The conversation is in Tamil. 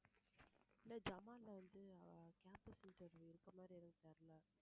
இல்ல ஜமல்லா வந்து campus interview எதுவும் தெரில